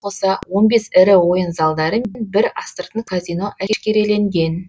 онымен қоса он бес ірі ойын залдары мен бір астыртын казино әшкереленген